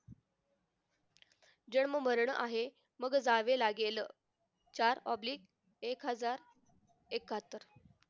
जन्म मरण आहे मग जावे लागेल चार oblige एक हजार एक्काहत्तर